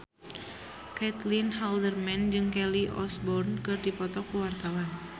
Caitlin Halderman jeung Kelly Osbourne keur dipoto ku wartawan